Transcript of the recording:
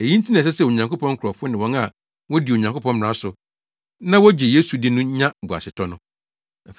Eyi nti na ɛsɛ sɛ Onyankopɔn nkurɔfo ne wɔn a wodi Onyankopɔn mmara so, na wogye Yesu di no nya boasetɔ no.